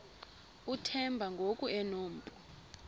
uthemba ngoku enompu